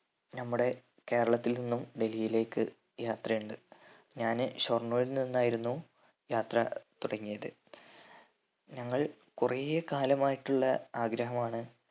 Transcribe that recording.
നമ്മുടെ കേരളത്തിൽ നിന്നും ഡൽഹിലേക്ക് യാത്രയിണ്ട് ഞാന് ഷൊർണ്ണൂരിൽ നിന്നായിരുന്നു യാത്ര തുടങ്ങിയത് ഞങ്ങൾ കൊറെ കാലമായിട്ടുള്ള ആഗ്രഹമാണ്